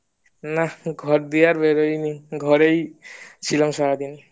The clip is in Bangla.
না ঘর থেকে আর বেরহয়নি ঘরেই ছিলাম সারাদিন